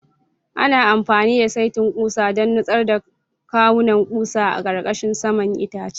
Ana amfani da saitin ƙusa don nutsar da kawunan ƙusa a ƙarƙashin saman itacen.